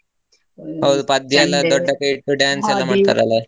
ಹೌದು .